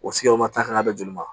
O kan ka bɛn joli ma